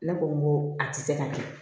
Ne ko n ko a tɛ se ka kɛ